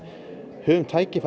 höfum tækifæri